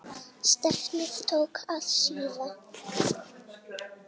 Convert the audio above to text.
Stefnið tók að síga.